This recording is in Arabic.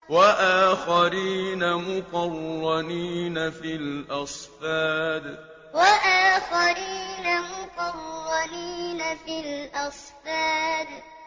وَآخَرِينَ مُقَرَّنِينَ فِي الْأَصْفَادِ وَآخَرِينَ مُقَرَّنِينَ فِي الْأَصْفَادِ